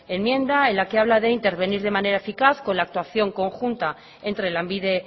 enmienda en la que habla de intervenir de manera eficaz con la actuación conjunta entre lanbide